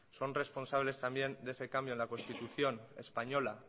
son responsables también de ese cambio en la constitución española